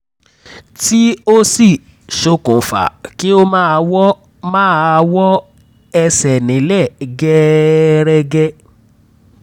tí ó sì ṣokùnfa kí ó máa wọ́ máa wọ́ ẹsẹ̀ nílẹ̀ gẹẹrẹgẹ